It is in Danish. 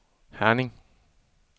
Herning